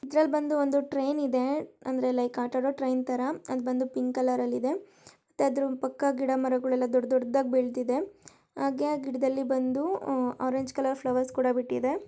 ಇದರಲ್ಲಿ ಬಂದು ಒಂದು ಟ್ರೈನ್ ಇದೆ ಅಂದ್ರೆ ಲೈಕ್ ಆಟ ಆಡೋ ಟ್ರೈನ್ ತರಾ ಅದು ಬಂದು ಪಿಂಕ್ ಕಲರ್ ಲಿ ಇದೆ ಅದರ ಪಕ್ಕ ಗಿಡಮರಗಳೆಲ್ಲ ದೊಡ್ಡದೊಡ್ಡದಾಗಿ ಬೆಳೆದಿದೆ ಹಾಗೆ ಆ ಗಿಡದಲ್ಲಿ ಬಂದು ಆರೆಂಜ್ ಕಲರ್ ಫ್ಲವರ್ ಕೂಡ ಬಿಟ್ಟಿದೆ.